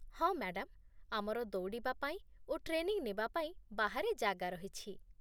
ହଁ ମ୍ୟାଡାମ୍, ଆମର ଦୌଡ଼ିବା ପାଇଁ ଓ ଟ୍ରେନିଂ ନେବା ପାଇଁ ବାହାରେ ଜାଗା ରହିଛି